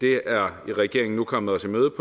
er regeringen nu kommet os i møde